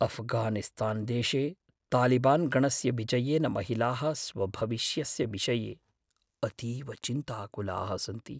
अफ्घानिस्तानदेशे तालिबान् गणस्य विजयेन महिलाः स्वभविष्यस्य विषये अतीव चिन्ताकुलाः सन्ति।